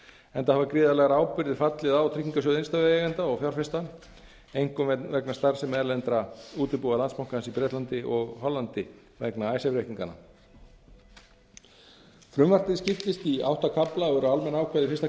enda hafa gríðarlegar ábyrgðir fallið á tryggingarsjóð innstæðueigenda og fjárfesta einkum vegna starfsemi erlendra útibúa landsbankans í bretlandi og hollandi vegna icesave reikninganna frumvarpið skiptist í átta kafla og eru almenn ákvæði í fyrsta